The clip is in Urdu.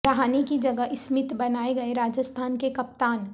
رہانے کی جگہ اسمتھ بنائے گئے راجستھان کے کپتان